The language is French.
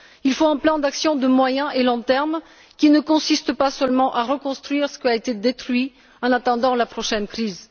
Il faut un plan d'action de moyen et de long terme, qui ne consiste pas seulement à reconstruire ce qui a été détruit en attendant la prochaine crise.